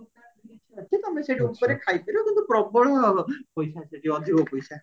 ତମେ ସେଠି ଉପରେ ଖାଇକି ପାରିବ କିନ୍ତୁ ପ୍ରବଳ ପଇସା ସେଠି ଅଧିକ ପଇସା